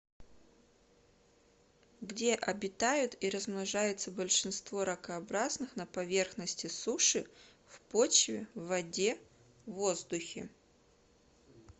где обитают и размножаются большинство ракообразных на поверхности суши в почве в воде в воздухе